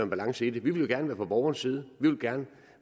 balance i det vi ville gerne være på borgernes side vi ville gerne